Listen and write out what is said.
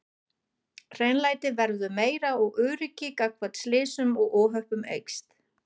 Hreinlæti verður meira og öryggi gagnvart slysum og óhöppum eykst.